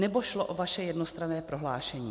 Nebo šlo o vaše jednostranné prohlášení?